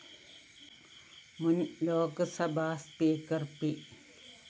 മുന്‍ Lok Sabha speaker P